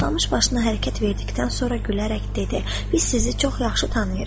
Toxtamış başını hərəkət verdikdən sonra gülərək dedi: Biz sizi çox yaxşı tanıyırıq.